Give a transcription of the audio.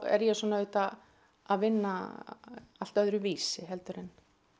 er ég svona auðvitað að vinna allt öðruvísi heldur en